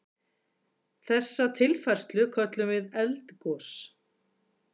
Þessa tilfærslu köllum við eldgos.